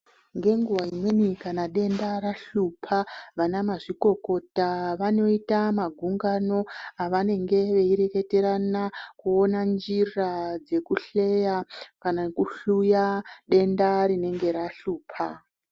Ngenguwa imweni kana denda rahlupa vana mazvikokota vanoita magungano avanenge veireketerana kuona njira dzekuhleya kana kuhluya denda rinenga rahlupa.